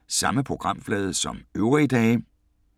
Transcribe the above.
Samme programflade som øvrige dage